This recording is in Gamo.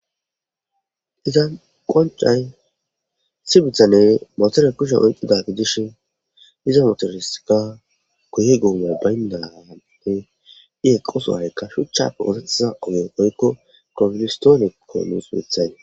Iza qoncay sibithane motore kushe oyqida gidish iza motoriska guye goomay bayndate i eqqoso haykka shuchchappe orethiza ogeopoykko grofonistoonekko nuus bithay